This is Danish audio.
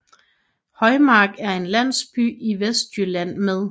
Højmark er en landsby i Vestjylland med